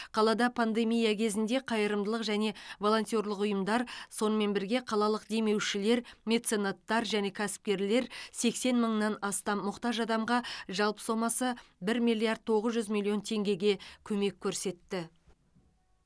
қалада пандемия кезінде қайырымдылық және волонтерлік ұйымдар сонымен бірге қалалық демеушілер меценаттар және кәсіпкерлер сексен мыңнан астам мұқтаж адамға жалпы сомасы бір миллиард тоғыз жүз миллион теңгеге көмек көрсетті